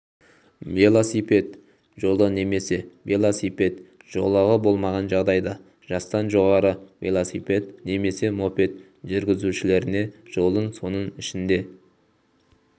велосипед жолы немесе велосипед жолағы болмаған жағдайда жастан жоғары велосипед немесе мопед жүргізушілеріне жолдың соның ішінде